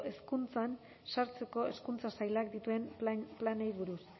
hezkuntzan sartzeko hezkuntza sailak dituen planei buruz